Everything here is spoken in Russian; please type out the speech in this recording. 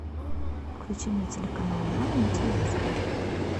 включи мне телеканал нано на телевизоре